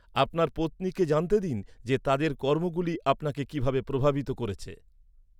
আপনার পত্নীকে জানতে দিন যে তাদের কর্মগুলি আপনাকে কীভাবে প্রভাবিত করেছে।